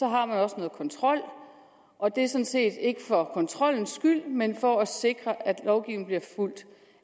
har man også noget kontrol og at det sådan set ikke er for kontrollens skyld men for at sikre